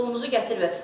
Pulunuzu gətirmə.